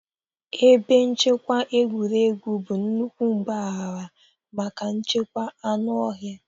Ebe nchekwa egwuregwu bụ nnukwu mpaghara maka nchekwa anụ ọhịa.